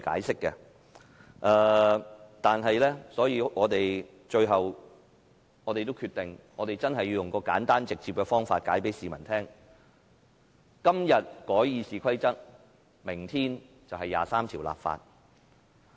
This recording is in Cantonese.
所以，最後我們決定用一個簡單直接的方法向市民解釋："今日改《議事規則》，明天23條立法"。